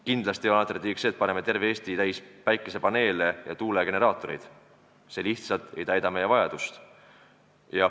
Kindlasti ei ole alternatiiviks see, et paneme terve Eesti täis päikesepaneele ja tuulegeneraatoreid, see lihtsalt ei kata meie vajadust.